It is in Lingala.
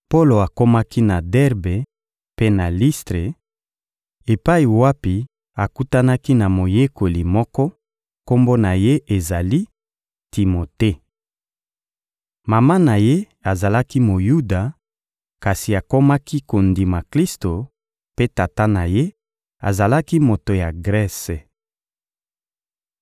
Polo akomaki na Derbe mpe na Listre, epai wapi akutanaki na moyekoli moko, kombo na ye ezali «Timote.» Mama na ye azalaki Moyuda, kasi akomaki kondima Klisto; mpe tata na ye azalaki moto ya Grese.